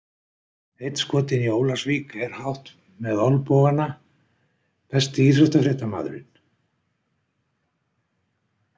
Einn skotinn í Ólafsvík er hátt með olnbogana Besti íþróttafréttamaðurinn?